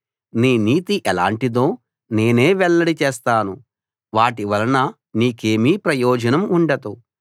నీ నీతి ఎలాంటిదో నేనే వెల్లడిచేస్తాను వాటివలన నీకేమీ ప్రయోజనం ఉండదు